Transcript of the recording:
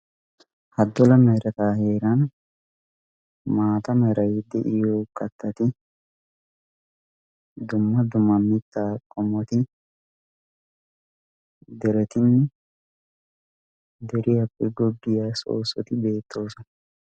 ha dola merataa heeran maata meray de'iyo qattati dumma dumma mittaa qomoti deretine deriyaappe goggiyaa soossoti beettoosana